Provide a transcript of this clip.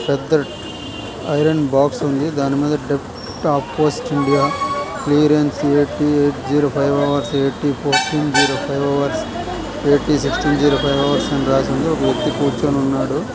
పెద్ద iron box ఉంది దాని మీద depth of post India clearance at eight zero five hours at fourteen zero five hours at sixteen zero five hours అని రాసిఉంది ఒక వ్యక్తి కూర్చొని ఉన్నాడు.